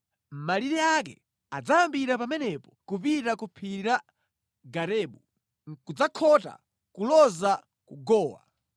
Malire ake adzayambira pamenepo kupita ku phiri la Garebu, nʼkudzakhota kuloza ku Gowa.